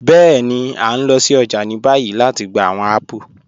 Bẹẹ̀ni, a n lọ sí ọjà ni báyì lati gbà awọn apples.